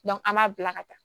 an b'a bila ka taa